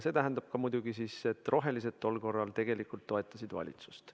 See tähendab muidugi seda, et rohelised tol korral tegelikult toetasid valitsust.